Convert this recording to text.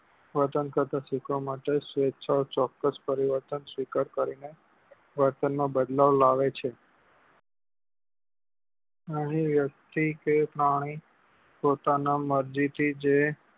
વર્તન કરતા શીખવા માટે સ્વેછાય ચોક્કસ પરિવર્તન સ્વીકાર કરી ને વર્તન માં બદલાવ લાવે છે એ વ્યક્તિ કે પ્રાણી પોતાના મરજી થી જે